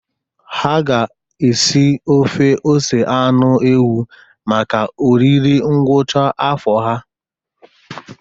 Ha ga-esi ofe ose anụ ewu maka oriri ngwụcha afọ ha.